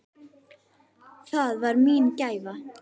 Það var mín gæfa.